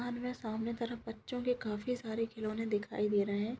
दिवाल में सामने तरफ बच्चों के काफी सारे खिलोने दिखाई दे रहें हैं।